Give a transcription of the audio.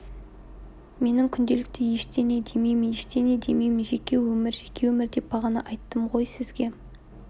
менің күнделікті ештеңе демеймін ештеңе демеймін жеке өмір жеке өмір деп бағана айттым ғой сізге